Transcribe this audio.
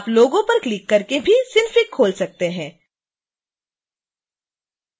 आप logo पर click करके भी synfig खोल सकते हैं